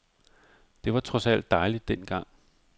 Det var trods alt dejligt den gang.